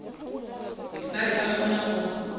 ba be ba kgona go